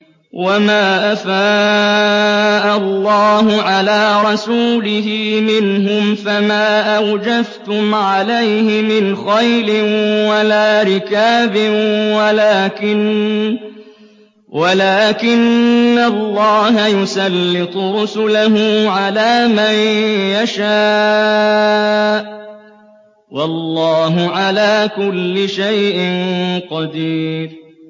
وَمَا أَفَاءَ اللَّهُ عَلَىٰ رَسُولِهِ مِنْهُمْ فَمَا أَوْجَفْتُمْ عَلَيْهِ مِنْ خَيْلٍ وَلَا رِكَابٍ وَلَٰكِنَّ اللَّهَ يُسَلِّطُ رُسُلَهُ عَلَىٰ مَن يَشَاءُ ۚ وَاللَّهُ عَلَىٰ كُلِّ شَيْءٍ قَدِيرٌ